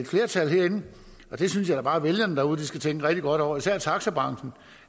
flertal herinde og det synes jeg da bare vælgerne derude skal tænke rigtig godt over især taxabranchen